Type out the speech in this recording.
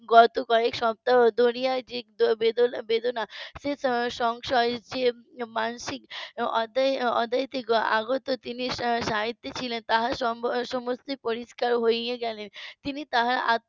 গত কয়েক সপ্তাহ ধরিয়া যে বেদনা বেদনা সে তার সংশয় দিয়ে মানসিক অধ্যায় থেকে আগত জিনিসটা সাহিত্যিক ছিলেন তাঁর সম~ সমস্ত পরিষ্কার হয়ে গেলেন তিনি তাহার আত্মার